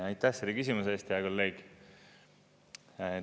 Aitäh selle küsimuse eest, hea kolleeg!